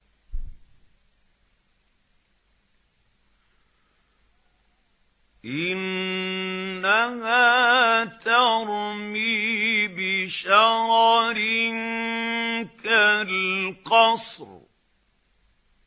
إِنَّهَا تَرْمِي بِشَرَرٍ كَالْقَصْرِ